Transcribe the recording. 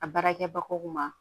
A baarakɛbagaw ma